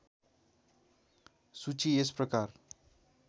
सूची यस प्रकार